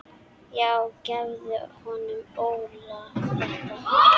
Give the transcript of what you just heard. Já gefðu honum Óla þetta.